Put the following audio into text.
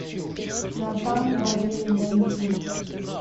натан барли найди